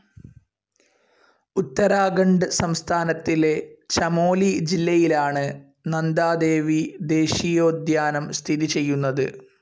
ഉത്തരാഖണ്ഡ് സംസ്ഥാനത്തിലെ ചമോലി ജില്ലയിലാണ് നന്ദാദേവീ ദേശീയോദ്യാനം സ്ഥിതി ചെയ്യുന്നത്.